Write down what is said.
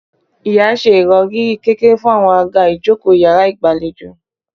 Ìya ṣe ìròrí kékeré fún àwọn àga ìjókòó iyàrá ìgbàlejò